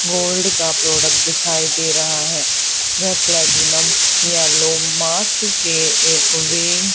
gold का product दिखाइ दे रहा है वे प्लैटिनम येलो मास्क के ए वे--